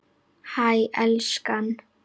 Hæ, elskan.